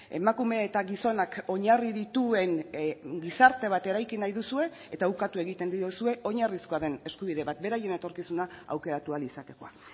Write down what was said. emakume eta gizonak oinarri dituen gizarte bat eraiki nahi duzue eta ukatu egiten diozue oinarrizkoa den eskubide bat beraien etorkizuna aukeratu ahal izatekoa